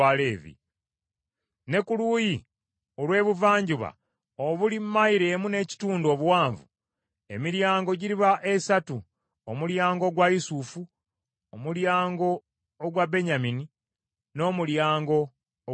Ne ku luuyi olw’ebuvanjuba obuli mayilo emu n’ekitundu obuwanvu, emiryango giriba esatu: omulyango ogwa Yusufu, n’omulyango ogwa Benyamini, n’omulyango ogwa Ddaani.